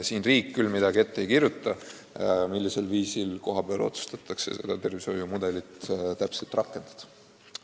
Riik küll ette ei kirjuta, millisel viisil kohapeal seda tervishoiumudelit rakendada.